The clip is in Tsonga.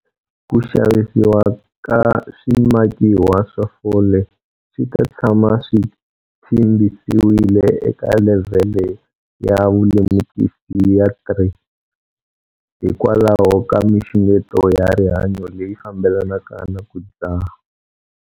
Ku xavisiwa ka swimakiwa swa fole swi ta tshama swi tshimbisiwile eka levhele ya vulemukisi ya 3, hikwalaho ka mixungeto ya rihanyo leyi fambelanaka na ku dzaha.